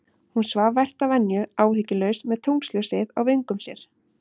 Hún svaf vært að venju, áhyggjulaus, með tunglsljósið á vöngum sér.